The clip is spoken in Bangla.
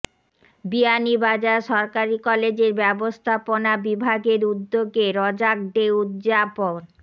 বিয়ানীবাজার সরকারি কলেজের ব্যবস্থাপনা বিভাগের উদ্যোগে র্যাগ ডে উদযাপন